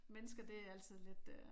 Mennesker det er altid lidt øh